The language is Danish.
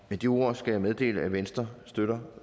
med de ord skal jeg meddele at venstre støtter